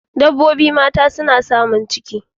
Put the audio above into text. Dabbobin mata kuma suna samun ciki.